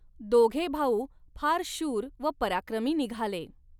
दोघे भाऊ फार शूर व पराक्रमी निघाले.